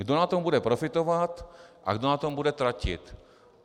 Kdo na tom bude profitovat a kdo na tom bude tratit?